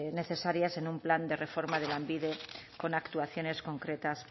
necesarias en un plan de reforma de lanbide con actuaciones concretas